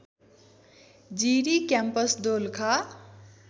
Jiri campus Dolakha